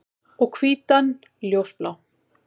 Og hvítan ljósblá.